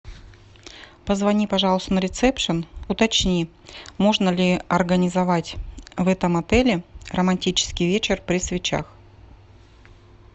позвони пожалуйста на ресепшен уточни можно ли организовать в этом отеле романтический вечер при свечах